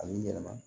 A b'i yɛlɛma